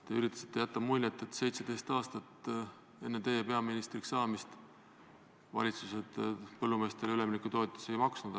Te üritasite jätta muljet, et 17 aastat enne teie peaministriks saamist valitsused põllumeestele üleminekutoetusi ei maksnud.